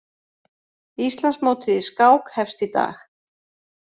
Íslandsmótið í skák hefst í dag